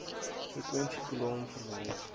frekwensie kolom verwys